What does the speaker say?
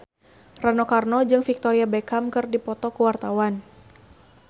Rano Karno jeung Victoria Beckham keur dipoto ku wartawan